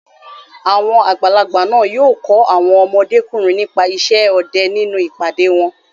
Àwọn àgbàlagbà náà yóò kọ́ àwọn ọmọdékùnrin nípa isẹ́ ọdẹ nínú ìpàdé wọn.